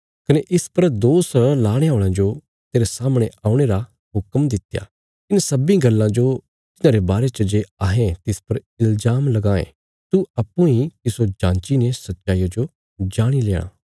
कने इस पर दोष लाणे औल़यां जो तेरे सामणे औणे रा हुक्म दित्या इन्हां सब्बीं गल्लां जो तिन्हांरे बारे च जे अहें तिस पर इल्जाम लगायें तू अप्पूँ इ तिस्सो जाँची ने सच्चाईया जो जाणी लेणा